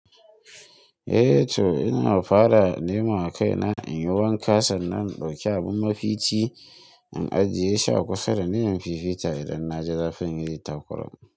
Eh to ina fara nemo a kaina in yi waka sanna in dauki abin mafici na ajiye shi a kusa da niyan fifita idan na ji zafin yayi takurawa.